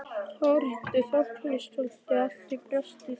Þórhildur Þorkelsdóttir: Allt brjóstið?